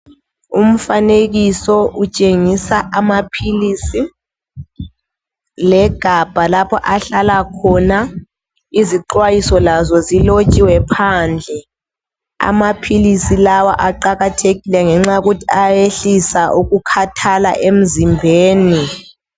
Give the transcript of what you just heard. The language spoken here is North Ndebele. Umfanekiso utshengisa amaphilisi legabha lapho ahlala khona. Izixwayiso lazo zilotshiwe phandle. Amaphilisi lawa aqakathekile ngenxa yokuthi ayehlisa ukukhathala emzimbeni.